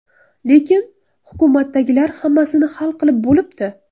Lekin... hukumatdagilar hammasini hal qilib bo‘libdi.